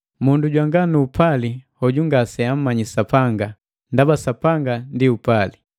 Mundu jwanga nu upali, hoju ngaseamanyi Sapanga, ndaba Sapanga ndi upali.